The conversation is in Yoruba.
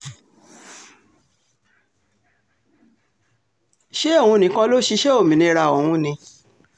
ṣé òun nìkan ló ṣiṣẹ́ òmìnira ọ̀hún ni